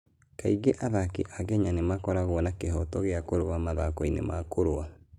Kaingĩ athaki a Kenya nĩ makoragwo na kĩhooto gĩa kũrũa mathako-inĩ ma kũrũa.